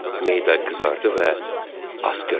Meyda qızardı və asqırdı.